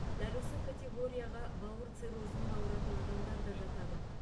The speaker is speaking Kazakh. дәл осы категорияға бауыр циррозымен ауыратын адамдар да жатады